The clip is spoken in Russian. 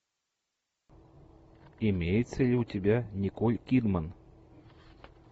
имеется ли у тебя николь кидман